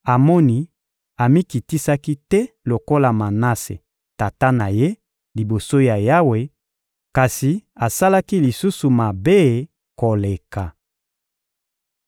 Amoni amikitisaki te lokola Manase, tata na ye, liboso ya Yawe, kasi asalaki lisusu mabe koleka.